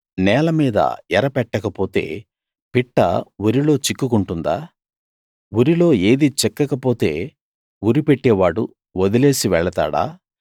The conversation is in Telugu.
నేల మీద ఎర పెట్టకపోతే పిట్ట ఉరిలో చిక్కుకుంటుందా ఉరిలో ఏదీ చిక్కకపోతే ఉరి పెట్టేవాడు వదిలేసి వెళతాడా